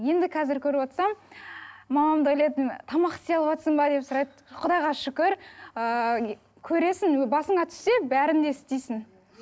енді қазір көріп отырсам мамам да ойлайтын тамақ істей алыватсың ба деп сұрайды құдайға шүкір ыыы көресің басыңа түссе бәрін де істейсің